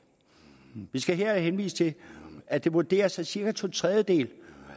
skal her henvise til at det vurderes at cirka to tredjedele